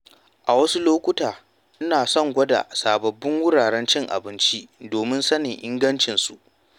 A wasu lokuta, ina son gwada sabbin wuraren cin abinci domin sanin ingancinsu.